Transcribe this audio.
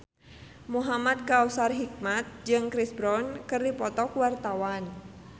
Muhamad Kautsar Hikmat jeung Chris Brown keur dipoto ku wartawan